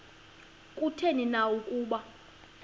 kutheni na ukuba